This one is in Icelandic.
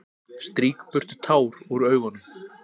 Strýk burtu tár úr augunum.